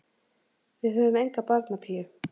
Við höfum enga barnapíu.